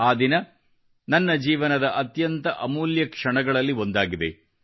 ಆ ದಿನ ನನ್ನ ಜೀವನದ ಅತ್ಯಂತ ಅಮೂಲ್ಯ ಕ್ಷಣಗಳಲ್ಲಿ ಒಂದಾಗಿದೆ